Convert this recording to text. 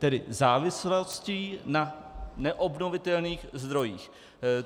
Tedy závislostí na neobnovitelných zdrojích.